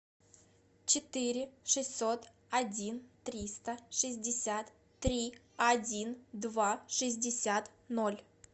четыре шестьсот один триста шестьдесят три один два шестьдесят ноль